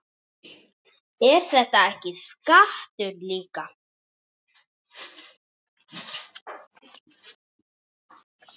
Er þetta ekki skattur líka?